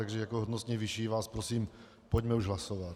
Takže jako hodnostně vyšší vás prosím, pojďme už hlasovat.